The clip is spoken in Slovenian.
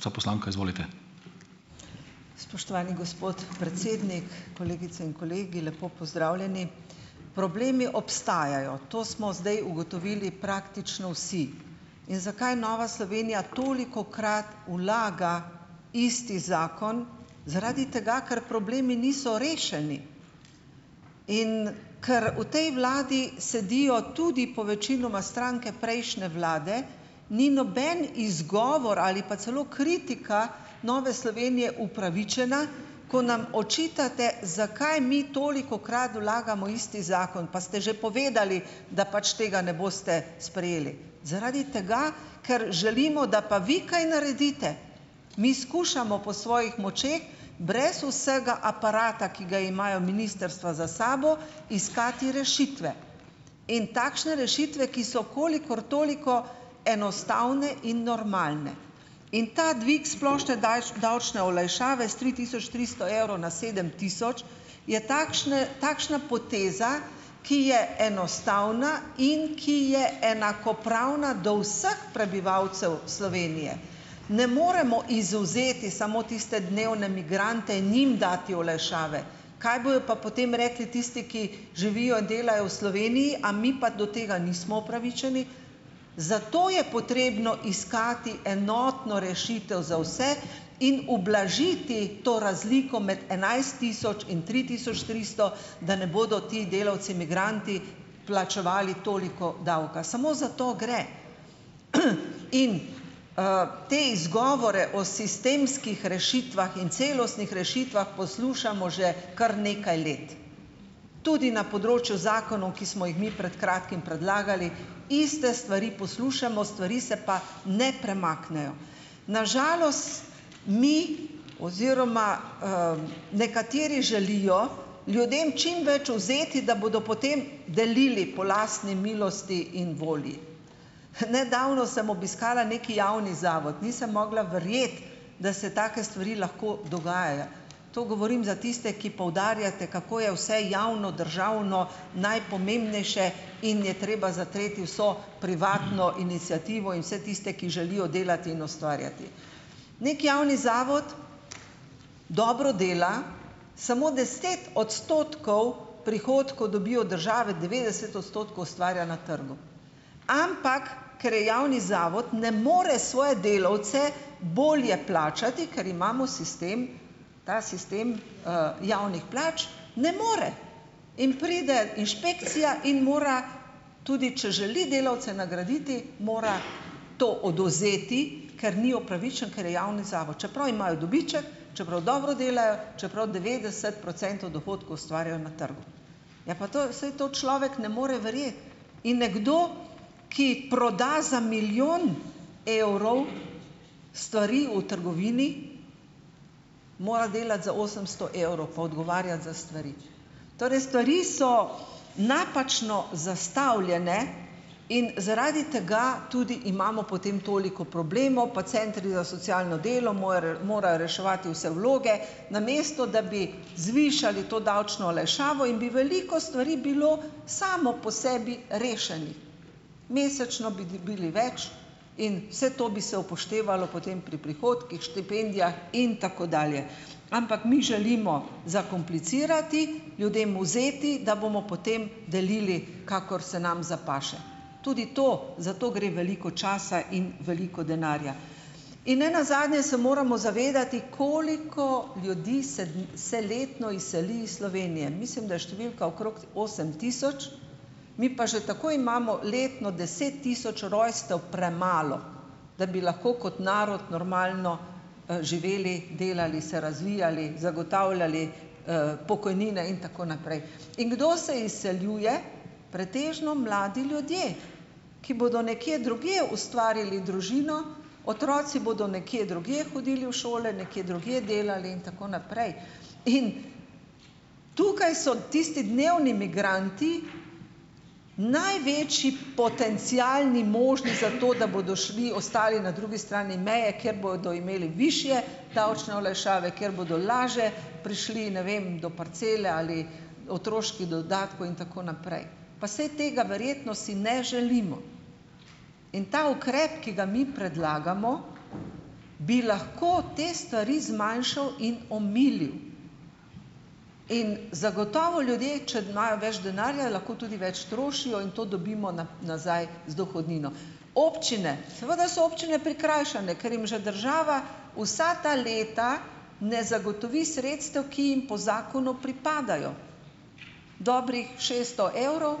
Spoštovani gospod predsednik, kolegice in kolegi, lepo pozdravljeni. Problemi obstajajo. To smo zdaj ugotovili praktično vsi. In zakaj Nova Slovenija tolikokrat vlaga isti zakon? Zaradi tega, ker problemi niso rešeni. In, ker v tej vladi sedijo tudi povečinoma stranke prejšnje vlade, ni noben izgovor ali pa celo kritika Nove Slovenije upravičena, ko nam očitate, zakaj mi tolikokrat vlagamo isti zakon. Pa ste že povedali, da pač tega ne boste sprejeli. Zaradi tega, ker želimo, da pa vi kaj naredite. Mi skušamo po svojih močeh, brez vsega aparata, ki ga imajo ministrstva za sabo, iskati rešitve. In takšne rešitve, ki so kolikor toliko enostavne in normalne. In ta dvig splošne davčne olajšave s tri tisoč tristo evrov na sedem tisoč je takšne, takšna poteza, ki je enostavna, in ki je enakopravna do vseh prebivalcev Slovenije. Ne moremo izvzeti samo tiste dnevne migrante in njim dati olajšave. Kaj bojo pa potem rekli tisti, ki živijo, delajo v Sloveniji? A mi pa do tega nismo upravičeni? Zato je potrebno iskati enotno rešitev za vse in ublažiti to razliko med enajst tisoč in tri tisoč tristo? Da ne bodo ti delavci migranti plačevali toliko davka. Samo za to gre. in, te izgovore o sistemskih rešitvah in celostnih rešitvah poslušamo že kar nekaj let. Tudi na področju zakonov, ki smo jih mi pred kratkim predlagali, iste stvari poslušamo, stvari se pa ne premaknejo. Na žalost mi oziroma, nekateri želijo ljudem čim več vzeti, da bodo potem delili po lastni milosti in volji. nedavno sem obiskala neki javni zavod, nisem mogla verjeti, da se take stvari lahko dogajajo. To govorim za tiste, ki poudarjate, kako je vse javno, državno, najpomembnejše in je treba zatreti vso privatno iniciativo in vse tiste, ki želijo delati in ustvarjati. Neki javni zavod dobro dela, samo deset odstotkov prihodkov dobi od države, devetdeset odstotkov ustvarja na trgu. Ampak, ker je javni zavod ne more svoje delavce bolje plačati, ker imamo sistem, ta sistem, javnih plač. Ne more. In pride inšpekcija in mora tudi če želi delavce nagraditi, mora to odvzeti, ker ni upravičen, ker je javni zavod. Čeprav imajo dobiček, čeprav dobro delajo, čeprav devetdeset procentov dohodkov ustvarjajo na trgu. Ja, pa to, saj to človek ne more verjeti. In nekdo, ki proda za milijon evrov stvari v trgovini, mora delati za osemsto evrov pa odgovarjati za stvari. Torej stvari so napačno zastavljene in zaradi tega tudi imamo potem toliko problemov. Pa centri za socialno delo morajo reševati vse vloge, namesto da bi zvišali to davčno olajšavo in bi veliko stvari bilo samo po sebi rešenih. Mesečno bi dobili več in vse to bi se upoštevalo potem pri prihodkih, štipendijah in tako dalje. Ampak mi želimo zakomplicirati, ljudem vzeti, da bomo potem delili, kakor se nam zapaše. Tudi to, zato gre veliko časa in veliko denarja. In nenazadnje se moramo zavedati, koliko ljudi se se letno izseli iz Slovenije. Mislim, da je številka okrog osem tisoč, mi pa že tako imamo letno deset tisoč rojstev premalo, da bi lahko kot narod normalno, živeli, delali, se razvijali, zagotavljali, pokojnine in tako naprej. In kdo se izseljuje? Pretežno mladi ljudje, ki bodo nekje drugje ustvarili družino, otroci bodo nekje drugje hodili v šole, nekje drugje delali in tako naprej. In tukaj so tisti dnevni migranti največji potencialni možni za to, da bodo šli, ostali na drugi strani meje, kjer bodo imeli višje davčne olajšave, kjer bodo lažje prišli, ne vem, do parcele ali otroških dodatkov in tako naprej. Pa saj tega verjetno si ne želimo. In ta ukrep, ki ga mi predlagamo bi lahko te stvari zmanjšal in omilil. In zagotovo ljudje, če imajo več denarja, lahko tudi več trošijo in to dobimo nazaj z dohodnino. Občine, seveda so občine prikrajšane, ker jim že država vsa ta leta ne zagotovi sredstev, ki jim po zakonu pripadajo, dobrih šeststo evrov